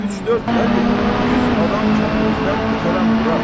Üç-dörd nədir, 100 adam kəndimizdən tökərəm bura.